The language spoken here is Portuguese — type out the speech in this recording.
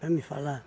Para mim falar.